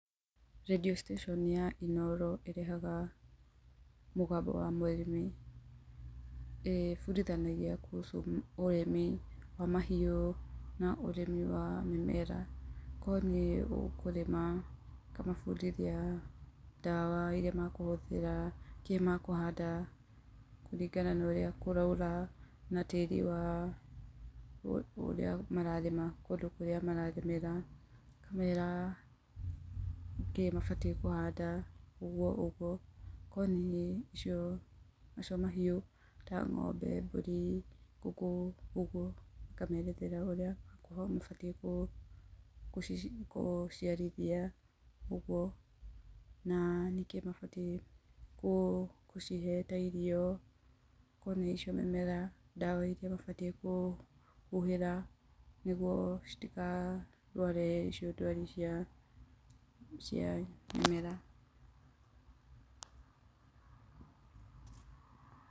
Radio station ya inooro ĩrehega mũgambo wa mũrĩmi, ĩbundinathagia kuhusu ũrĩmi wa mahiu na ũrĩmi wa mĩmera, korwo nĩ ũkũrĩma ĩkamabundithia ndawa ĩrĩa makũhũthĩra kĩĩ makũhanda kũringana na ũrĩa kũroira na tĩĩri wao ũrĩa mararĩma kũndũ kũrĩa mararĩmĩra, ĩkamera kĩĩ mabatiĩ kũhanda ũguo ũguo, korwo nĩ nacio mahiũ ta ng'ombe, mbũri, ngũkũ ũguo ĩkamerethera ũrĩa mabatiĩ gũciarithia ũguo, na nĩ kĩĩ mabatiĩ gũcihe ta irio, korwo nĩ icio mĩmera, ndawa ĩrĩa mabatiĩ kũhuhĩra nĩguo citikarware icio ndwari cia mimera.